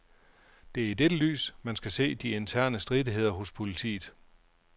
Det er i dette lys, man skal se de interne stridigheder hos politiet.